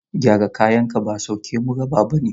Gyara kayanka ba sauki mu raba bane.